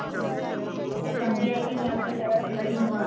ਚਾਹੁੰਦੀ ਹੈ ਕੇ ਮੈਂ ਆਪਣੇ ਪੈਰਾ ਤੇ ਖੜੀ ਹੋਵਾਂ